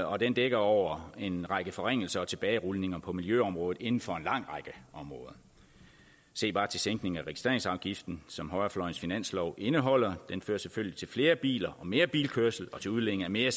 og den dækker over en række forringelser og tilbagerulninger på miljøområdet inden for en lang række områder se bare til sænkningen af registreringsafgiften som højrefløjens finanslov indeholder den fører selvfølgelig til flere biler og mere bilkørsel og til udledning af mere